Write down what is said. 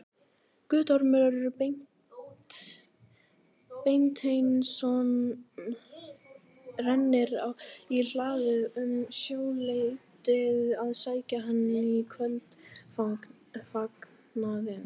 Guttormur Beinteinsson rennir í hlaðið um sjöleytið að sækja hann í kvöldfagnaðinn.